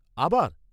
আবার?